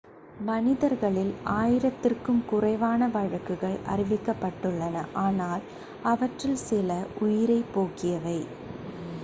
மனிதர்களில் ஆயிரத்திற்கும் குறைவான வழக்குகள் அறிவிக்கப்பட்டுள்ளன ஆனால் அவற்றில் சில உயிரைப் போக்கியவை